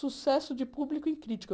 Sucesso de público e crítica.